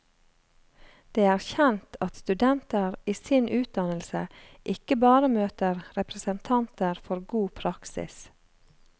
Det er kjent at studenter i sin utdannelse ikke bare møter representanter for god praksis.